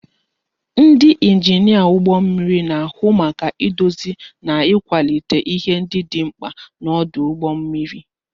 Ndị injinia ọdụ ụgbọ mmiri na-ahụ maka idozi na ịkwalite ihe ndị dị mkpa n'ọdụ ụgbọ mmiri